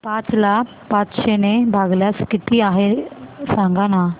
पाच ला पाचशे ने भागल्यास किती आहे सांगना